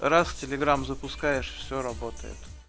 раз в телеграм запускаешь все работает